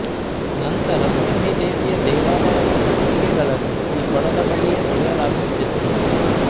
ನಂತರ ಲಕ್ಷ್ಮೀದೇವಿಯ ದೇವಾಲಯದ ಸತ್ತಿಗೆಗಳನ್ನು ಈ ಕೊಳದ ಬಳಿಯೆ ತೊಳೆಯಲಾಗುತಿತ್ತು